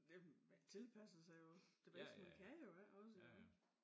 Det man tilpasser sig jo det bedste man kan jo ikke også jo